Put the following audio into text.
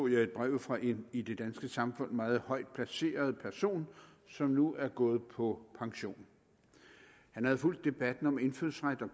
et brev fra en i det danske samfund meget højt placeret person som nu er gået på pension han havde fulgt debatten om indfødsret og